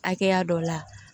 Hakɛya dɔ la